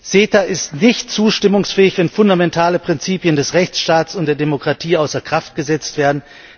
CETA ist nicht zustimmungsfähig, wenn fundamentale Prinzipien des Rechtsstaats und der Demokratie außer Kraft gesetzt werden.